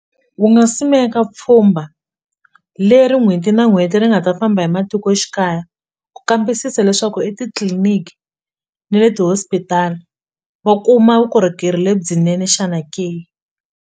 Ku nga simeka pfhumba leri n'hweti na n'hweti ri nga ta famba hi matikoxikaya ku kambisisa leswaku etitliliniki ne le ti-hospital va kuma vukorhokeri lebyinene xana ke.